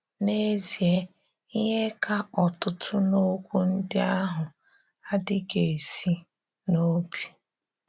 N’ezìe, ihè kà ọ̀tụ̀tù̀ n’okwu ndị́ ahụ̀ adịghị̀ esi n’obi.